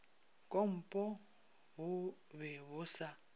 kompo bo be bo sa